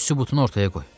Sübutunu ortaya qoy.